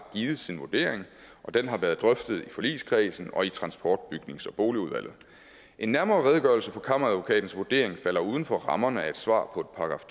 givet sin vurdering og den har været drøftet i forligskredsen og i transport bygnings og boligudvalget en nærmere redegørelse for kammeradvokatens vurdering falder uden for rammerne af et svar på et §